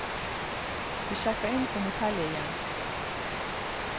Vi sjekker inn på motellet igjen.